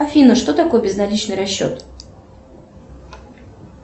афина что такое безналичный расчет